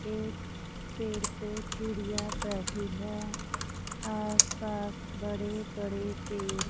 एक पेड़ पे चिड़िया बैठी है आस पास बड़े बड़े पेड़--